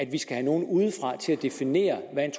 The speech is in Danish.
vi skal have nogle udefra til at definere hvad